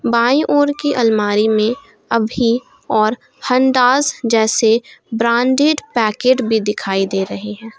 By ओर की अलमारी में अभी और हांडास जैसे ब्रांडेड पैकेट भी दिखाई दे रही है।